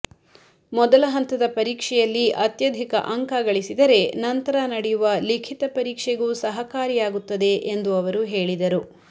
ಮೊದಲ ಹಂತದ ಪರೀಕ್ಷೆಯಲ್ಲಿ ಅತ್ಯಧಿಕ ಅಂಕ ಗಳಿಸಿದರೆ ನಂತರ ನಡೆಯುವ ಲಿಖಿತ ಪರೀಕ್ಷೆಗೂ ಸಹಕಾರಿಯಾಗುತ್ತದೆ ಎಂದು ಅವರು ಹೇಳಿದರು